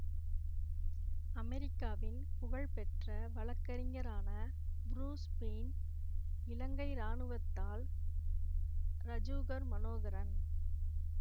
அமெரிக்காவின் புகழ்பெற்ற வழக்கறிஞரான புரூஸ் ஃபெய்ன் இலங்கை இராணுவத்தால் ரஜீகர் மனோகரன்